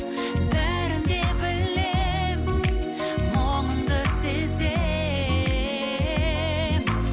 бәрін де білем мұңыңды сезем